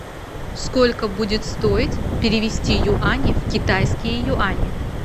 сколько будет стоить перевести юани в китайские юани